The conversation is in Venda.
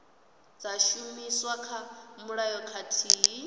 dza shumiswa kha mulayo khathihi